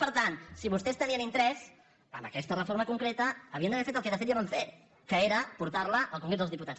per tant si vostès tenien interès en aquesta reforma con·creta havien d’haver fet el que de fet ja van fer que era portar·la al congrés dels diputats